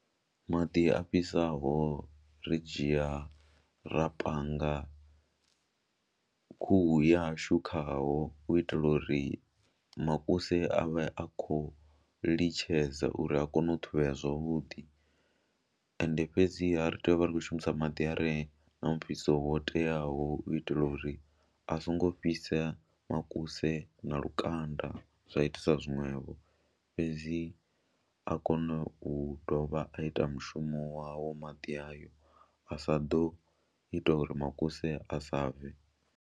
Maḓi a fhisaho ri dzhia ra panga khuhu yashu khaho u itela uri makuse a vhe a khou litshedza uri a kone u ṱhuvhea zwavhuḓi ende fhedziha ri tea u vha ri khou shumisa maḓi a re na mufhiso wo teaho u itela uri a songo fhisa makuse na lukanda zwa itisa zwone ṅwevho fhedzi a kone u dovha a ita mushumo wawo, maḓi ayo a sa ḓo ita uri makuse a sa bve.